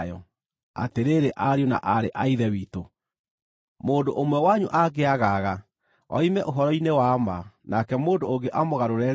Atĩrĩrĩ ariũ na aarĩ a Ithe witũ, mũndũ ũmwe wanyu angĩagaga oime ũhoro-inĩ wa ma nake mũndũ ũngĩ amũgarũre-rĩ,